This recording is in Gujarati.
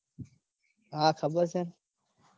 હા ખબર છે ન